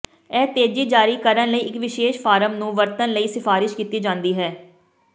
ਇਹ ਤੇਜ਼ ਜਾਰੀ ਕਰਨ ਲਈ ਇੱਕ ਵਿਸ਼ੇਸ਼ ਫਾਰਮ ਨੂੰ ਵਰਤਣ ਲਈ ਸਿਫਾਰਸ਼ ਕੀਤੀ ਜਾਦੀ ਹੈ